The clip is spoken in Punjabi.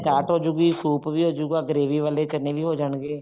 ਚਾਰਟ ਹੋਜੂਗੀ ਸੂਪ ਵੀ ਹੋਜੂਗਾ gravy ਵਾਲੇ ਚਨੇ ਵੀ ਹੋ ਜਾਣਗੇ